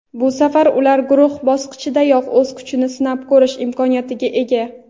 Bu safar ular guruh bosqichidayoq o‘z kuchini sinab ko‘rish imkoniyatiga ega.